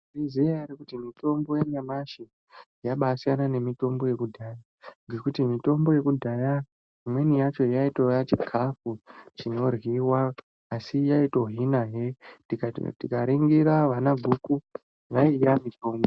Munozviziya ere kuti mitombo yanyamashi yabaasiyana nemitombo yekudhaya, ngekuti mitombo yekudhaya imweni yacho, yaitoiya chikhafu chinoryiwa asi yaitohinahe .Tikati tikaningira ana guku, yaiya mitombo.